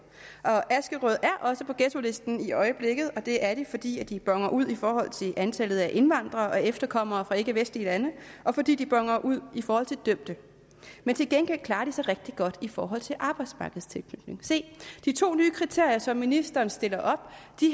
askerød er også på ghettolisten i øjeblikket og det er de fordi de boner ud i forhold til antallet af indvandrere og efterkommere fra ikkevestlige lande og fordi de boner ud i forhold til dømte men til gengæld klarer de sig rigtig godt i forhold til arbejdsmarkedstilknytning de to nye kriterier som ministeren stiller op